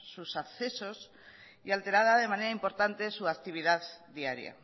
sus accesos y alterada de manera importante su actividad diaria